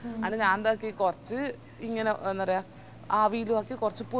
അത് ഞാനെന്താക്കി കൊർച് ഇങ്ങനെ അന്നേരം ആവിലാക്കി കൊർച്